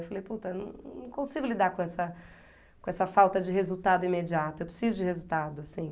Eu falei, puta, eu não não consigo lidar com essa com essa falta de resultado imediato, eu preciso de resultado, assim.